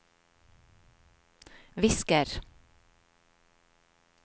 visker